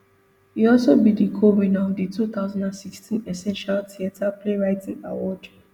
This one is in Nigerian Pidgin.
e also be di cowinner of di two thousand and sixteen essential theatre playwriting award